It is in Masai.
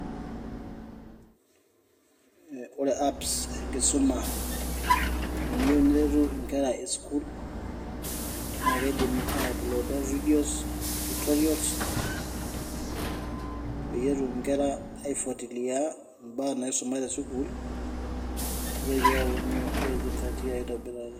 Ore apps enkisuma teneiyeu neretu inkera e sukuul, naa keidim ai uploada videos, tutorials peeyie etum inkera aifuatilia imbaa naisuma te sukuul neitoki apuonu aisingatia aitobiraki.